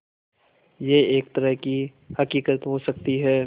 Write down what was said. यह एक तरह की हक़ीक़त हो सकती है